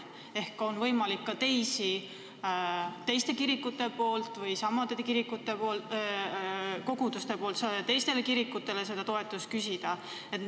Ehk saavad ka teised kirikud või samade kirikute teised kogudused seda toetust küsida?